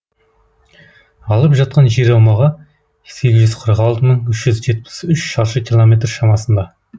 алып жатқан жер аумағы сегіз қырық алты мың үш жүз жетпіс үш шаршы километр шамасында